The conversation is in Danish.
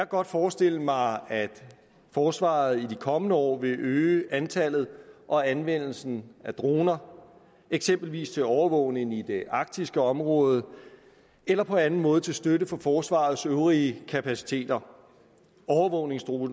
godt forestille mig at forsvaret i de kommende år vil øge antallet og anvendelsen af droner eksempelvis til overvågning i det arktiske område eller på anden måde til støtte for forsvarets øvrige kapaciteter overvågningsdroner